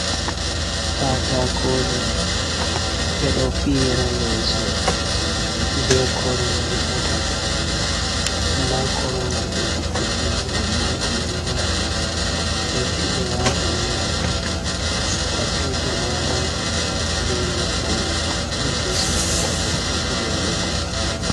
Katakoje ɓe ɗo fiyra leeso, be korumje ha to nda korowal ɓe fuɗɗi fiyugo amma timmidaka, lutti ɓe watanangal ka tifa magal be leppol je suddata katifa man ɓe tappa.